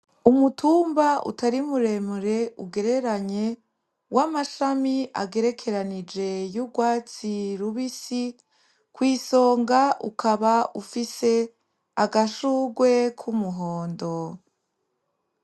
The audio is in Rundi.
Umutumba utari muremure ugereranye w'amashami agerekeranije y'urwatsi rubisi, kw'isonga ukaba ufise agashurwe k'umuhondo.